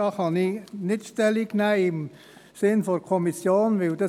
der SiK. Dazu kann ich im Sinne der Kommission nicht Stellung nehmen.